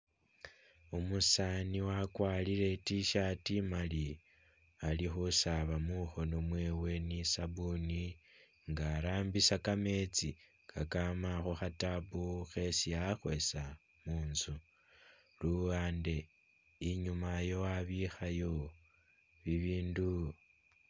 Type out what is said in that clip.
Umusaani wakwalire i't-shirt i'maali, ali khusaaba mukhoono mwewe ni sabuni nga arambisa kameetsi kakama khukha'tap khesi a'khwesa mu'nzu, luwande i'nyuma yo, wabikhayo bibindu